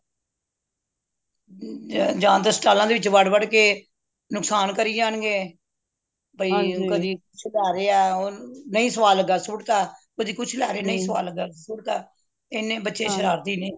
ਜਾਂ ਤੇ ਸਟਾਲਾਂ ਦੇ ਵਿੱਚ ਵਾੜ ਵਾੜ ਕੇ ਨੁਕਸਾਨ ਕਰਿ ਜਾਨ ਗੇ ਬਇ ਕਦੀ ਕੁਛ ਲੈ ਰਹੇਆ ਨਹੀਂ ਸਵਾਦ ਲਗਿਆ ਸੁੱਟ ਤਾ ਕਦੀ ਕੁਛ ਲੈ ਰਹੇ ਨਹੀਂ ਸਵਾਦ ਲਗਿਆ ਸੁੱਟ ਤਾ ਹਨ ਬੱਚੇ ਸ਼ਰਾਰਤੀ ਨੇ